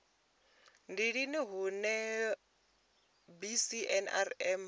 ndi lini hune cbnrm ya